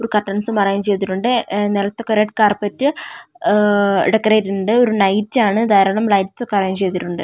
കർട്ടൻസും arrange ചെയ്തിട്ടുണ്ട് ങ്ങ നിലത്ത് കുറെ കാർപെറ്റ് ങ് ഡെക്കറേറ്റ് ഉണ്ട് ങ്ങ ഒരു നൈറ്റ് ആണ് കാരണം ലൈറ്റ്സ് ഒക്കെ അറേഞ്ച് ചെയ്തിട്ടുണ്ട്.